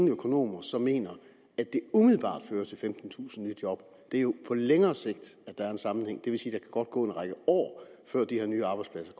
økonomer som mener at det umiddelbart fører til femtentusind nye job det er jo på længere sigt at der er en sammenhæng det vil sige at gå en række år før de her nye arbejdspladser